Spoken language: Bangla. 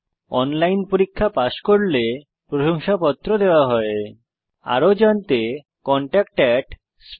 অনলাইন পরীক্ষা পাস করলে প্রশংসাপত্র সার্টিফিকেট দেওয়া হয়